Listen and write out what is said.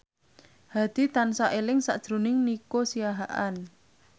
Hadi tansah eling sakjroning Nico Siahaan